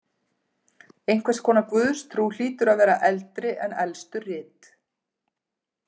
Einhvers konar guðstrú hlýtur að vera eldri en elstu rit.